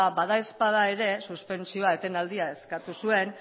ba bada ezpada ere suspentsioa etenaldia eskatu zuen